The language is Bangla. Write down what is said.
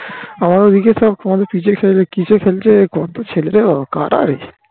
আমাদের ঐদিকে সব কিসে খেলছে কত ছেলে রে কারা রে